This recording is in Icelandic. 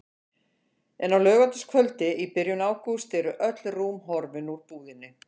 En á laugardagskvöldi í byrjun ágúst eru öll rúm horfin úr búðinni.